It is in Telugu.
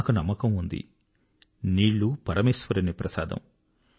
నాకు నమ్మకం ఉంది నీళ్ళు పరమేశ్వరుని ప్రసాదం